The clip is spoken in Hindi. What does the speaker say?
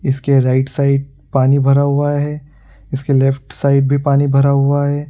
इसके राइट साइड पानी भरा हुआ है इसके लेफ्ट साइड भी पानी भरा हुआ है।